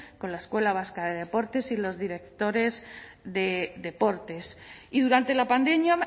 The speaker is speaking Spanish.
con la escuela vasca de deportes y los directores de deportes y durante la pandemia